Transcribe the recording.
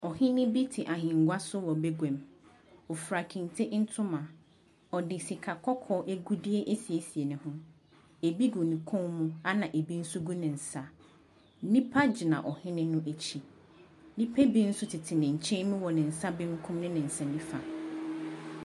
Ɔhene bi te ahengua so wɔ baguam. Ɔfura kente ntoma. Ɔde sika kɔkɔɔ agudeɛ asiesie ne ho. Ebi gu ne kɔn mu ɛnna ebi nso gu ne nsa. Nnipa gyina ɔhene no akyi. Nnipa bi nso tete ne nkyɛn mu wɔ ne nsa benkum ne ne nsa nifa.